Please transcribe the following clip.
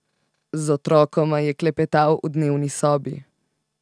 Z otrokoma je klepetal v dnevni sobi.